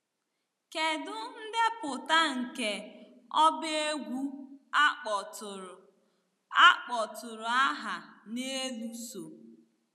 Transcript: Kedu ndepụta nke ọba egwu a kpọtụrụ a kpọtụrụ aha n'elu so?